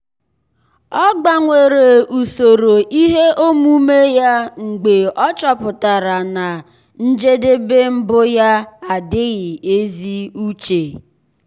ọ́ gbanwere usoro ihe omume ya mgbe ọ́ chọ́pụ̀tárà na njedebe mbụ yá ádị́ghị́ ézi úché.